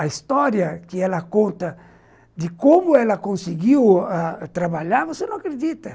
A história que ela conta de como ela conseguiu ãh trabalhar, você não acredita.